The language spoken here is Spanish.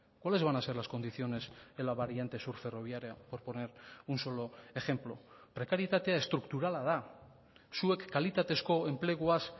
cuáles van a ser las condiciones en la variante sur ferroviaria por poner un solo ejemplo prekarietatea estrukturala da zuek kalitatezko enpleguaz